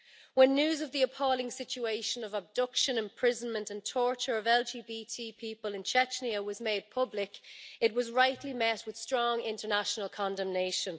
When news of the appalling situation of abduction, imprisonment and torture of LGBT people in Chechnya was made public, it was rightly met with strong international condemnation.